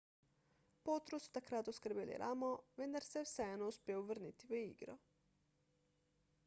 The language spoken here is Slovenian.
potru so takrat oskrbeli ramo vendar se je vseeno uspel vrniti v igro